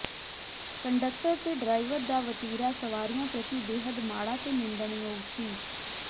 conductor ਤੇ driver ਦਾ ਵਤੀਰਾ ਸਵਾਰੀਆਂ ਪ੍ਰਤੀ ਬੇਹੱਦ ਮਾੜਾ ਤੇ ਨਿੰਦਣਯੋਗ ਸੀ